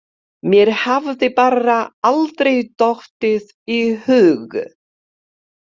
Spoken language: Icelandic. Mér hafði bara aldrei dottið í hug.